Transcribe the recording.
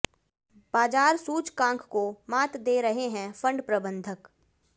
बाजार सूचकांक को मात दे रहे हैं फंड प्रबंधक